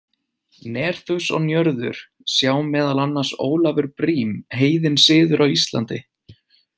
Nerþus og Njörður, sjá meðal annars Ólafur Briem, Heiðinn siður á Íslandi.